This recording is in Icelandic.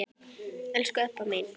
Elsku Ebba mín.